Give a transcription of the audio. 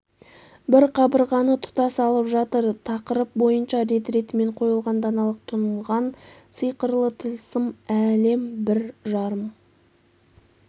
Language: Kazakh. бір қабырғаны тұтас алып жатыр тақырып бойынша рет-ретімен қойылған даналық тұнған сиқырлы тылсым әлем бір жарым